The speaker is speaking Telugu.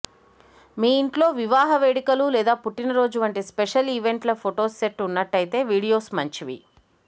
మీ ఇంట్లో వివాహ వేడుకలు లేదా పుట్టినరోజు వంటి స్పెషల్ ఈవెంట్ ల ఫొటోస్ సెట్ ఉన్నట్లయితే వీడియోస్ మంచివి